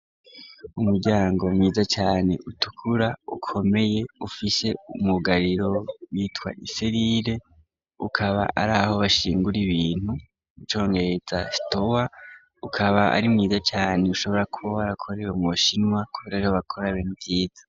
Umuryango mwiza cane utukura ukomeye ufise umwugariro bitwa iselile, ukaba ari aho bashingura ibintu icongereza store, ukaba ari mwiza cane ushobora kuba warakorewe mu bu shinwa kubera ariho bakorera ibintu vyiza.